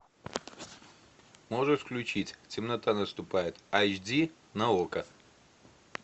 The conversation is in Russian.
можешь включить темнота наступает айч ди на окко